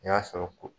N y'a sɔrɔ ko